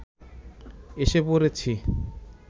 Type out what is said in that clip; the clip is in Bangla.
এসে পড়েছি